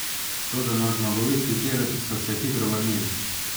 Toda na zmagoviti tir so se hitro vrnili.